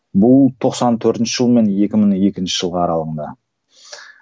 бұл тоқсан төртінші жыл мен екі мың екінші жылғы аралығында